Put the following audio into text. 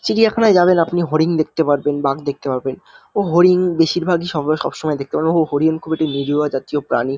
চিড়িয়াখানাই যাবেন আপনি হরিণ দেখতে পারবেন বাঘ দেখতে পাবেন ও হরিন বেশিরভাগ সময় সবসময় দেখতে পারবেন ও হরিন খুব নিরিহ জাতীয় প্রানি ।